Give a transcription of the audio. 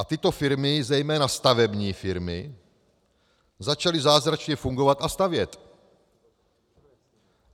A tyto firmy, zejména stavební firmy, začaly zázračně fungovat a stavět.